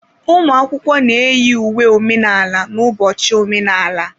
Ụmụ akwụkwọ na-eyi uwe omenala n'ụbọchị omenala.